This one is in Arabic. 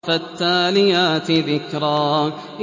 فَالتَّالِيَاتِ ذِكْرًا